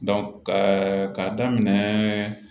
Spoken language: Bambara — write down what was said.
ka daminɛ